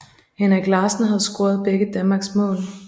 Henrik Larsen havde scoret begge Danmarks mål